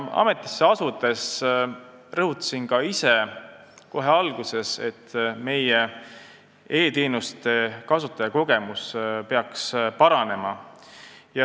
Ametisse asudes rõhutasin ka ise kohe alguses, et meie e-teenuste kasutajakogemus peaks paranema.